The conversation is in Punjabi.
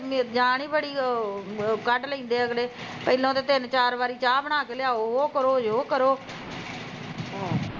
ਮੇਰੇ ਜਾਨ ਈ ਬੜੀ ਕੱਢ ਲੈਂਦੇ ਅਗਲੇ ਪਹਿਲਾਂ ਉਰੇ ਤਿੰਨ ਚਾਰ ਵਾਰੀ ਚਾਹ ਬਣਾ ਕੇ ਲਿਆਓ ਉਹ ਕਰੋ ਯੋ ਕਰੋ ਆਹ